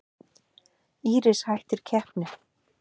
Íris hættir keppni